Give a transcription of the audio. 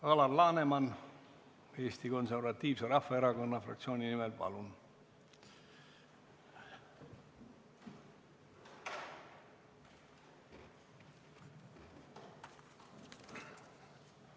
Alar Laneman Eesti Konservatiivse Rahvaerakonna fraktsiooni nimel, palun!